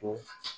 Ko